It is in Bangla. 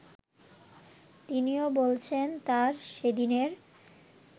তিনিও বলেছেন তাঁর সেদিনের